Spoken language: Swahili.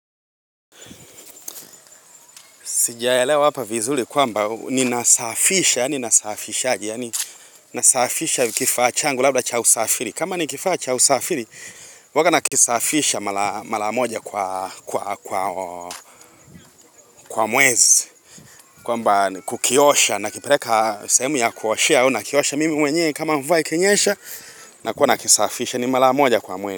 Sijaelewa leo hapa vizuri kwamba ninasafisha, yaani nasafishaje, yaani nasafisha kifaa changu labda cha usafiri. Kama ni kifaa cha usafiri, huanga nakisafisha mara moja kwa mwezi. Kwamba kukiosha, nakipeleka sehemu ya kuoshea, au nakiosha mimi mwenye kama mvua ikinyesha, nakuwa nakisafisha ni mara moja kwa mwezi.